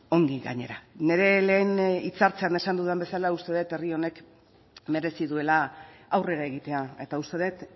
ongi gainera nire lehen hitzartzean esan dudan bezala uste dut herri honek merezi duela aurrera egitea eta uste dut